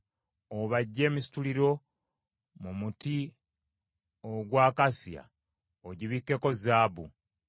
Obajje emisituliro mu muti ogwa akasiya, ogibikkeko zaabu.